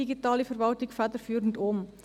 Digitale Verwaltung federführend um.